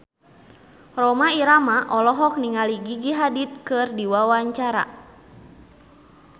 Rhoma Irama olohok ningali Gigi Hadid keur diwawancara